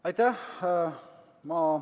Aitäh!